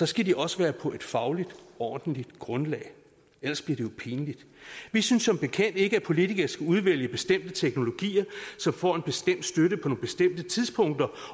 skal de også være på et fagligt ordentligt grundlag ellers bliver det jo pinligt vi synes som bekendt ikke at politikere skal udvælge bestemte teknologier som får en bestemt støtte på nogle bestemte tidspunkter